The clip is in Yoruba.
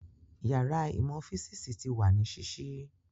Yàrá ìmọ̀ físìsì ti wà ní sísí